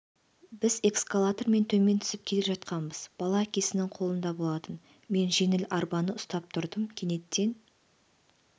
біз эскалатормен төмен түсіп келе жатқанбыз бала әкесінің қолында болатын мен жеңіл арбаны ұстап тұрдым кенеттен